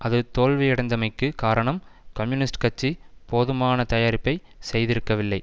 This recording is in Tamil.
அது தோல்வியடைந்தமைக்கு காரணம் கம்யூனிஸ்ட் கட்சி போதுமான தயாரிப்பை செய்திருக்கவில்லை